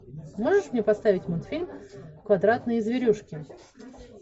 можешь мне поставить мультфильм квадратные зверюшки